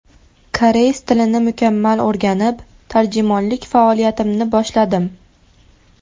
Koreys tilini mukammal o‘rganib, tarjimonlik faoliyatimni boshladim.